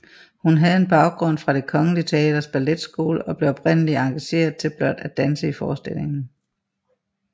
Hun havde en baggrund fra Det Kongelige Teaters Balletskole og blev oprindeligt engageret til blot at danse i forestillingen